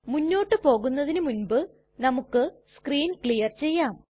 മുന്നോട്ട് പോകുന്നതിനു മുൻപ് നമുക്ക് സ്ക്രീൻ ക്ലിയർ ചെയ്യാം